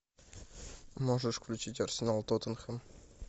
можешь включить арсенал тоттенхэм